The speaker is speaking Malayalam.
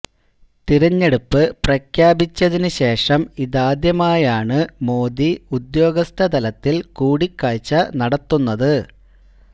തിരഞ്ഞെടുപ്പ് പ്രഖ്യാപിച്ചതിന് ശേഷം ഇതാദ്യമായാണ് മോദി ഉദ്യോഗസ്ഥ തലത്തില് കൂടിക്കാഴ്ച നടത്തുന്നത്